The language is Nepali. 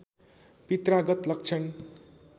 पित्रागत लक्षण